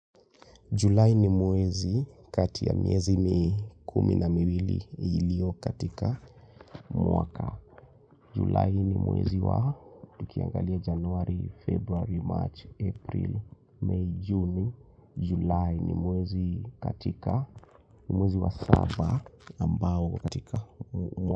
Julai ni mwezi kati ya miezi mi kumi na miwili ilio katika mwaka. Julai ni mwezi wa tukiangalia januari, februari, march, april, may, juni. Julai ni mwezi wa saba ambao katika mwaka.